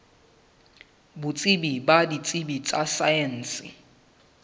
botsebi ba ditsebi tsa saense